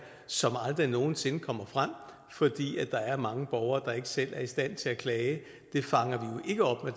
som aldrig nogen sinde kommer frem fordi der er mange borgere der ikke selv er i stand til at klage det fanger